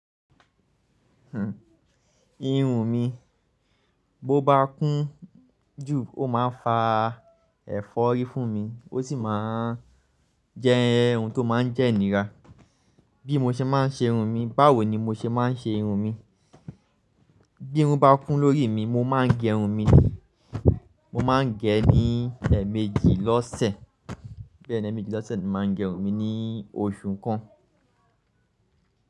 Irun mi bó bá kún jù ó máa ń fa ẹ̀fọ́rí fún mi, ó sì máa jẹ oun tó máa ń jẹ́ inira. Bí mo ṣe máa ń ṣe irun mi, báwo ni mo ṣe máa ń ṣe irun mi? Bí run bá kún lórí mi, mo máa ń gẹ run mi mo máa ń gẹ ẹ́ ní ẹ̀emèjì lọ́sẹ̀. Bẹ́ẹ̀ ni, ẹ̀mèjì lọ́sẹ̀ ni máa ń gẹ irun mi ní oṣù kan.